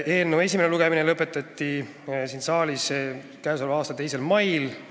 Eelnõu esimene lugemine lõpetati siin saalis k.a 2. mail.